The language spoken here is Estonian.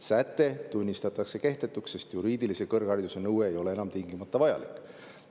Säte tunnistatakse kehtetuks, sest juriidilise kõrghariduse nõue ei ole enam tingimata vajalik.